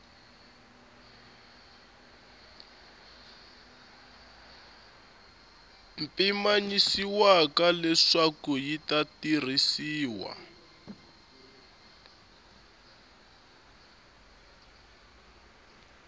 pimanyisiwaka leswaku yi ta tirhisiwa